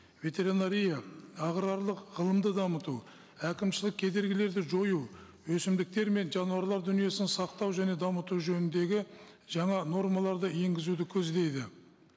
ветеринария аграрлық ғылымды дамыту әкімшілік кедергілерді жою өсімдіктер мен жануарлар дүниесін сақтау және дамыту жөніндегі жаңа нормаларды енгізуді көздейді